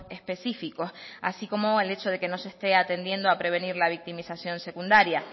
específicos así como el hecho de que no se esté atendiendo aprevenir la victimización secundara